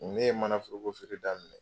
Ne ye manaforokofeere daminɛ